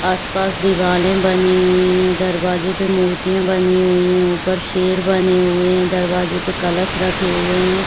आस-पास दीवाले बनी हुई हे दरवाजे पे मूर्तियां बनी हुई हे ऊपर शेर बने हुए हे दरवाजे पे कलश रखे हुए हे।